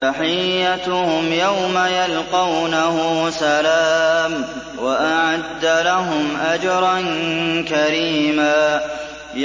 تَحِيَّتُهُمْ يَوْمَ يَلْقَوْنَهُ سَلَامٌ ۚ وَأَعَدَّ لَهُمْ أَجْرًا كَرِيمًا